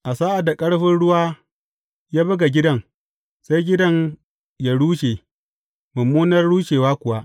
A sa’ad da ƙarfin ruwa ya buga gidan, sai gidan yă rushe, mummunar rushewa kuwa.